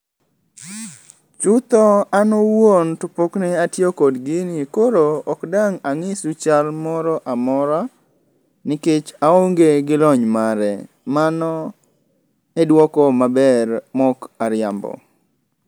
Chutho an owuon to pokne atiyo kod gini koro ok dang' ang'isu chal moro amora, nikech aonge gi lony mare. Mano e dwoko maber mok ariambo.